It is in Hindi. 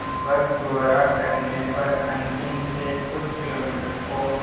बस द्वारा करने पर अंतिम से कुछ किलोमीटर को